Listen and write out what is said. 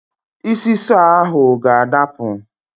Isi sọọ ahụ ga-adapụ.